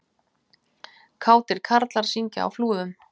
Kátir karlar syngja á Flúðum